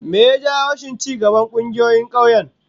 Me ya jawo rashin ci gaban kungiyoyin kauyen?